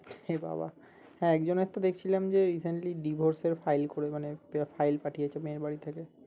এবাবা হ্যাঁ একজনের তো দেখছিলাম যে recently divorce এর file করে মানে file পাঠিয়েছে মেয়ের বাড়ি থেকে